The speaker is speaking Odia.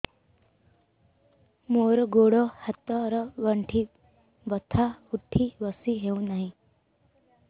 ମୋର ଗୋଡ଼ ହାତ ର ଗଣ୍ଠି ବଥା ଉଠି ବସି ହେଉନାହିଁ